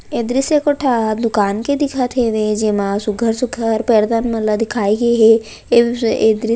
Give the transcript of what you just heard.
ए दृश्य एको ठा दुकान के देखत हेवे जे मा सुग्घर-सुग्घर पर्दा मन ला दिखाए गे हे ए दृश्य --